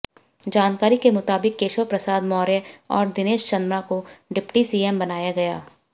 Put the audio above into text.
जानकारी के मुताबिक केशव प्रसाद मौर्य और दिनेश शर्मा को डिप्टी सीएम बनाया जाएगा